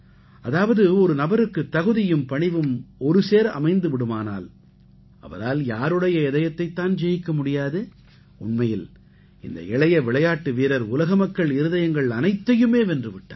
அதாவது ஒரு நபருக்கு தகுதியும் பணிவும் ஒருசேர அமைந்து விடுமானால் அவரால் யாருடைய இதயத்தைத் தான் ஜெயிக்க முடியாது உண்மையில் இந்த இளைய விளையாட்டு வீரர் உலக மக்கள் இருதயங்கள் அனைத்தையுமே வென்று விட்டார்